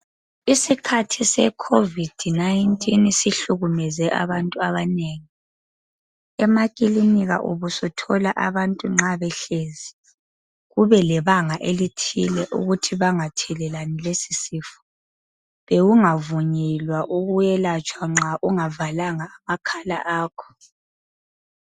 Isikhathi sekhovidi sihlukumeze abantu abanengi. Emakilinika ubusuthola abantu nxa behlezi kube lebanga elithile ukuthi bangathelelani lesisifo. Bekungavunyelwa ukwelatshwa nxa ungavalanga amakhala akho